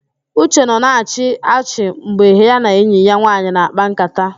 Uche nọ na-achị achị mgbe ya na enyi ya nwaanyị na-àkpá ńkátá